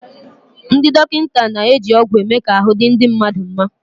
Ndị dọkịta na-eji ọgwụ eme ka ahụ́ di ndị mmadụ nma.